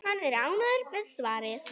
Hann er ánægður með svarið.